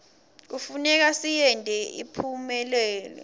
kufuneka siyente iphumelele